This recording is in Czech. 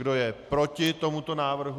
Kdo je proti tomuto návrhu?